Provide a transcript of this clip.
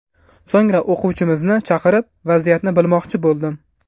So‘ngra o‘quvchimizni chaqirib, vaziyatni bilmoqchi bo‘ldim.